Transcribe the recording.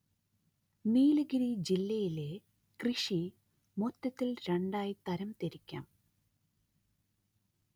നീലഗിരി ജില്ലയിലെ കൃഷി മൊത്തത്തില്‍ രണ്ടായി തരം തിരിക്കാം